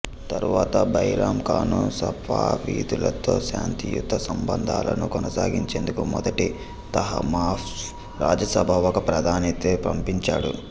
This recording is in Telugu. తరువాత బైరామ్ ఖాను సఫావిదులతో శాంతియుత సంబంధాలను కొనసాగించేందుకు మొదటి తహమాస్ప్ రాజసభకు ఒక ప్రతినిధిని పంపించాడు